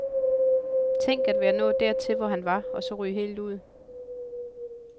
Tænk at være nået dertil, hvor han var, og så ryge helt ud.